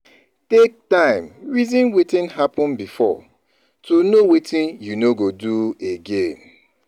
Take time reason wetin happen before to know wetin you no go do again